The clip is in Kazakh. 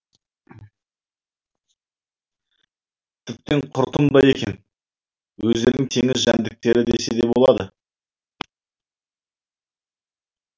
тіптен құртымдай екен өздерін теңіз жәндіктері десе де болады